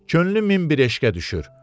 Könlüm min bir eşqə düşür.